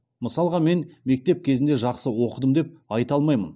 мысалға мен мектеп кезінде жақсы оқыдым деп айта алмаймын